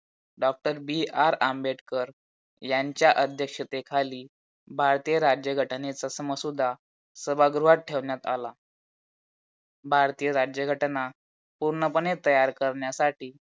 DOCTOR B R Ambedkar यांचा अध्यक्षतेखाली भारतीय राज्यघटनेचा मसुदा सभागृत ठेवण्यात आला. भारतीय राज्यघटना पूर्णपणे तयार कारन्यासाठी